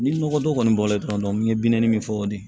Ni nɔgɔ don kɔni bɔra la dɔrɔn n ye bi naani min fɔ o de ye